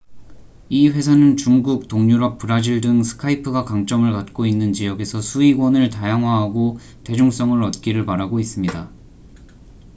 이 회사는 중국 동유럽 브라질 등 스카이프가 강점을 갖고 있는 지역에서 수익원을 다양화하고 대중성을 얻기를 바라고 있습니다